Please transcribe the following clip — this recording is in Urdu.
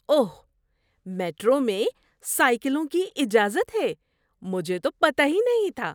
اوہ! میٹرو میں سائیکلوں کی اجازت ہے۔ مجھے تو پتہ ہی نہیں تھا۔